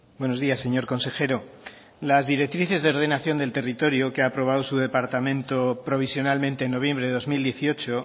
buenos días señor consejero las directrices de ordenación del territorio que ha aprobado su departamento provisionalmente en noviembre de dos mil dieciocho